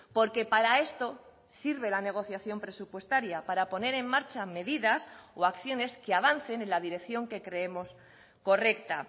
porque para esto sirve la negociación presupuestaria para poner en marcha medidas o acciones que avancen en la dirección que creemos correcta